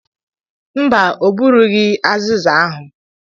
Mba, o burughị aziza ahu.